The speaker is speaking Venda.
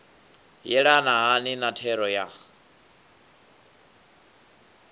yelana hani na thero ya